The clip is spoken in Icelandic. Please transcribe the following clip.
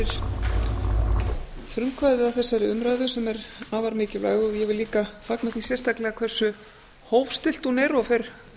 frumkvæðið að þessari umræðu sem er afar mikilvæg ég vil líka fagna því sérstaklega hversu hófstillt hún er og fer